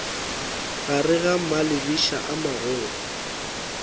gare ga malebiša a magolo